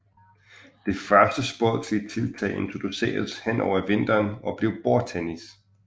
Det første sportslige tiltag introduceredes hen over vinteren og blev bordtennis